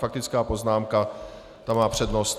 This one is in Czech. Faktická poznámka, ta má přednost.